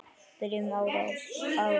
Byrjun árs.